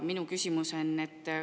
Minu küsimus on selline.